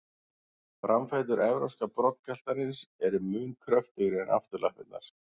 Framfætur evrópska broddgaltarins eru mun kröftugri en afturlappirnar.